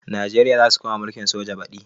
Najeriya zasu koma mulkin soja badi